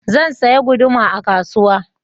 Zan saya guduma a kasuwa